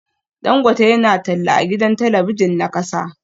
Dangote yana talla a gidan talabijin na kasa